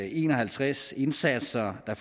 en og halvtreds indsatser der